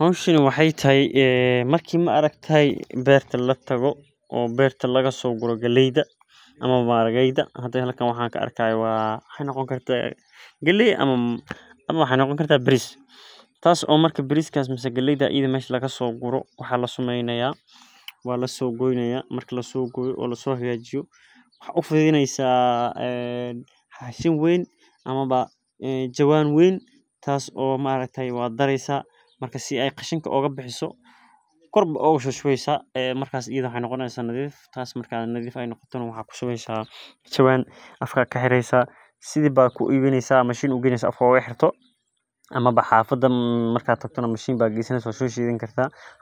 Hoshani waxee tahay marku beerta latago ama laga soguro galeyds ama maharageda ama wuxu noqoni karaa baris waxaa u fiduneysa bac weyn waa nadhifineysa marka mashin aya geynesa ama hada rabto